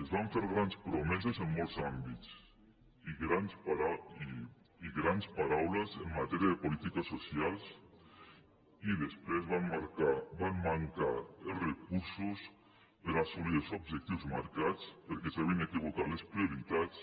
ens van fer grans promeses en molts àmbits i grans paraules enmatèria de polítiques socials i després van mancar els recursos per assolir els objectius marcats perquè s’ha·vien equivocat les prioritats